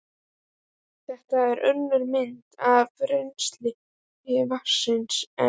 Þetta er önnur mynd af rennsli vatnsins en